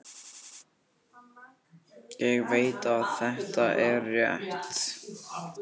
Ég veit að þetta er rétt.